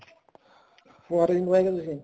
ਫੁਹਾਰੇ ਨੀ ਲਾਏ ਹੋਏ ਤੁਸੀਂ